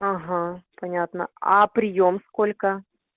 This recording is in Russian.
ага понятно а приём сколько